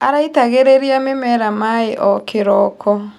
Araitagĩrĩria mĩmera maĩ o kĩroko.